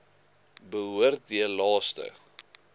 behoort heel laaste